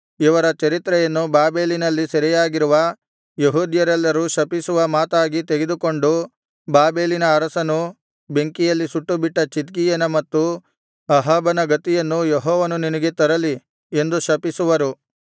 ಇವರ ಚರಿತ್ರೆಯನ್ನು ಬಾಬೆಲಿನಲ್ಲಿ ಸೆರೆಯಾಗಿರುವ ಯೆಹೂದ್ಯರೆಲ್ಲರು ಶಪಿಸುವ ಮಾತಾಗಿ ತೆಗೆದುಕೊಂಡು ಬಾಬೆಲಿನ ಅರಸನು ಬೆಂಕಿಯಲ್ಲಿ ಸುಟ್ಟುಬಿಟ್ಟ ಚಿದ್ಕೀಯನ ಮತ್ತು ಅಹಾಬನ ಗತಿಯನ್ನು ಯೆಹೋವನು ನಿನಗೆ ತರಲಿ ಎಂದು ಶಪಿಸುವರು